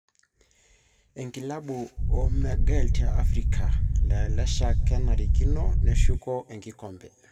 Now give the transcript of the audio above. Enkilabu o magil te Africa:Lakeshak kenarikino neshuku enkikombe.